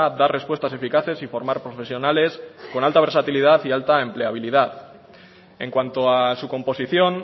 dar respuestas eficaces y formar profesionales con alta versatilidad y alta empleabilidad en cuanto a su composición